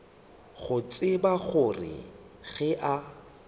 go tseba gore ge a